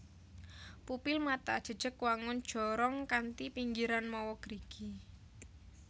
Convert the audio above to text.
Pupil mata jejeg wangun jorong kanthi pinggiran mawa gerigi